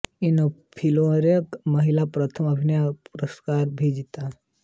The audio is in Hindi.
उन्होंने फ़िल्मफ़ेयर महिला प्रथम अभिनय पुरस्कार भी जीता